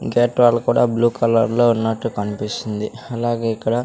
Gate wall కూడా blue colour లో ఉన్నట్టు కనిపిస్తుంది అలాగే ఇక్కడ.